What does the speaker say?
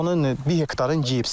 Onun bir hektarın yeyib.